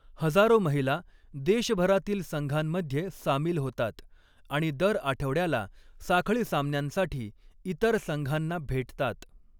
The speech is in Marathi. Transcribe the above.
हजारो महिला देशभरातील संघांमध्ये सामील होतात आणि दर आठवड्याला साखळी सामन्यांसाठी इतर संघांना भेटतात.